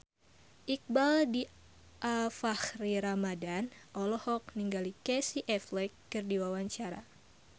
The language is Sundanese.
Iqbaal Dhiafakhri Ramadhan olohok ningali Casey Affleck keur diwawancara